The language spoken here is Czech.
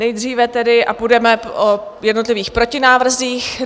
Nejdříve tedy - a půjdeme o jednotlivých protinávrzích.